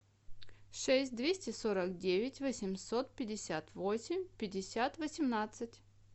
шесть двести сорок девять восемьсот пятьдесят восемь пятьдесят восемнадцать